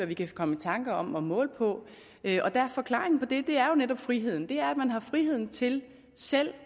vi kan komme i tanker om at måle på forklaringen på det er netop friheden man har friheden til selv